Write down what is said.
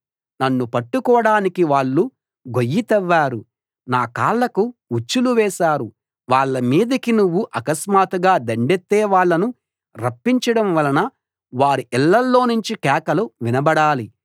నన్ను పట్టుకోడానికి వాళ్ళు గొయ్యి తవ్వారు నా కాళ్లకు ఉచ్చులు వేశారు వాళ్ళ మీదికి నువ్వు అకస్మాత్తుగా దండెత్తే వాళ్ళను రప్పించడం వలన వారి ఇళ్ళలోనుంచి కేకలు వినబడాలి